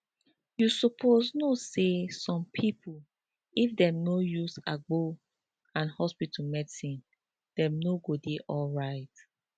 you sopose no say some pipo if dem no use agbo and hospital medicine dem no go dey alright